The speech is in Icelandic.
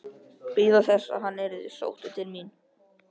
Bíða þess að hann yrði sóttur til mín?